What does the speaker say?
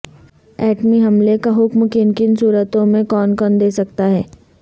ایٹمی حملے کا حکم کن کن صورتوں میں کون کون دے سکتا ہے